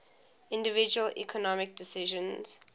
individual economic decisions